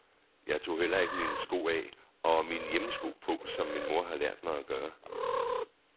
Jeg tog heller ikke mine sko af og mine hjemmesko på, som min mor har lært mig at gøre.